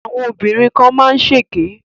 Àwọn obìnrin kan má ń ṣèké